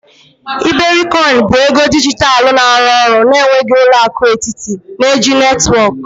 iberikoin bụ ego dijitalụ na-arụ ọrụ na-enweghị ụlọ akụ etiti, na-eji netwọk.